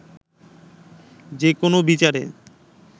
যে কোনো বিচারে